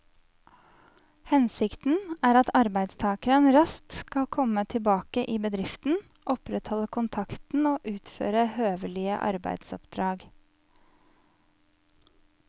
Hensikten er at arbeidstakeren raskt skal komme tilbake i bedriften, opprettholde kontakten og utføre høvelige arbeidsoppdrag.